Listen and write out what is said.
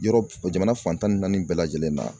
Yɔrɔ jamana fan tan ni naani bɛɛ lajɛlen na.